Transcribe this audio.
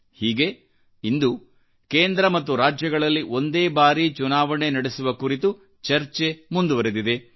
ಹೀಗೆ ಇಂದು ಕೇಂದ್ರ ಮತ್ತು ರಾಜ್ಯಗಳಲ್ಲಿ ಒಂದೇ ಬಾರಿ ಚುನಾವಣೆ ನಡೆಸುವ ಕುರಿತು ಚರ್ಚೆ ಮುಂದುವರಿದಿದೆ